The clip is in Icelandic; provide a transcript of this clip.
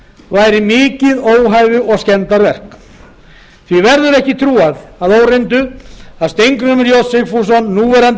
væri mikið óhæfu og skemmdarverk því verður ekki trúað að óreyndu að steingrímur j sigfússon núverandi